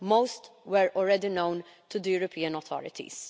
most were already known to the European authorities.